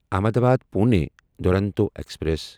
Ahmedabad Pune Duronto express